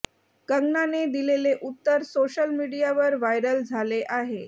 कंगनाने दिलेले उत्तर सोशल मीडियावर व्हायरल झाले आहे